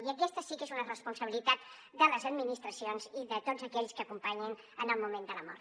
i aquesta sí que és una responsabilitat de les administracions i de tots aquells que acompanyin en el moment de la mort